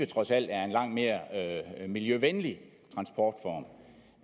trods alt er en langt mere miljøvenlig transportform